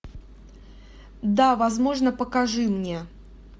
да возможно покажи мне